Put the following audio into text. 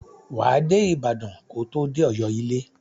Wà á dé Ibàdàn ko tó dé Ọ̀yọ́ ilé.